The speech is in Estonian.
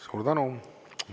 Suur tänu!